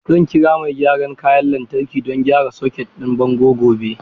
Zan kira mai gyaran kayan lantarki don gyara soket ɗin bango gobe.